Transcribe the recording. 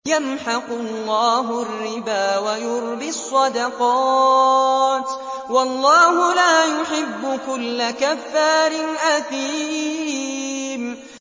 يَمْحَقُ اللَّهُ الرِّبَا وَيُرْبِي الصَّدَقَاتِ ۗ وَاللَّهُ لَا يُحِبُّ كُلَّ كَفَّارٍ أَثِيمٍ